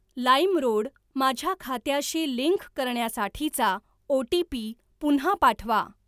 LimeRoad माझ्या खात्याशी link करण्यासाठीचा ओ.टी.पी. पुन्हा पाठवा.